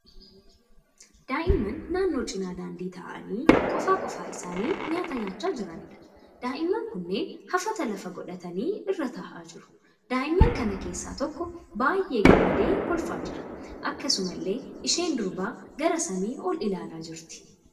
Daa'imman naannoo cina daandii taa'anii qofaa qofaa isaanii nyaata nyaachaa jiraniidha. Daa'imman kunneen hafata lafa godhatanii irra ta'aa jiru. Daa'imman kana keessaa tokko baay'ee gammadee kolfaa jira. Akkasumallee isheen durbaa gara samii ol ilaalaa jirti.